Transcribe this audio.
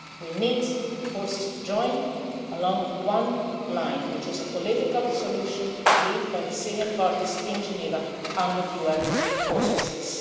it. We need forces to join along one line, which is a political solution agreed by the Syrian parties in Geneva under the UN auspices.